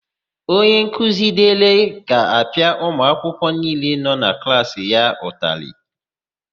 Onyenkuzi Dịlị ga-apịa ụmụakwụkwọ niile nọ na klaasị ya ụtalị.